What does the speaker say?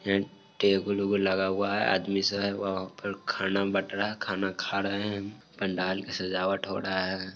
Table वेबुल है| आदमी जो है वह पर खाना बट रहा है| खाना खा रहे है| पंडाल सजावट हो रहा है।